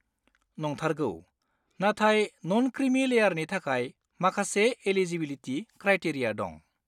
नंथारगौ! नाथाय न'न-क्रिमि लेयारनि थाखाय माखासे एलिजिबिलिटि क्रायटेरिया दं।